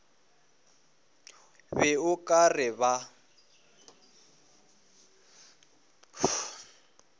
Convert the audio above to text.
be o ka re ba